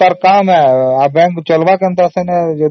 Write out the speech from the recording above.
ତ bank ଚାଲିବ କେମିତି ଏସବୁ ଦବନି ତ